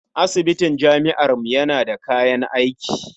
Asibitin jami'armu yana da kayan aiki.